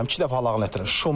İki dəfə halağın elətdirmişəm.